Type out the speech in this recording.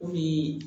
O ye